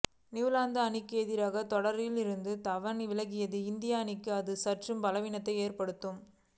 New Zealand அணிக்கு எதிரான தொடரிலிருந்து தவான் விலகினால் இந்திய அணிக்கு அது சற்று பலவீனத்தை ஏற்படுத்தும்